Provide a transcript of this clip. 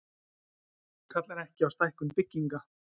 Kallar ekki á stækkun bygginga